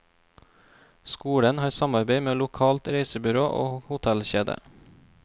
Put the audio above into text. Skolen har samarbeid med lokalt reisebyrå og hotellkjede.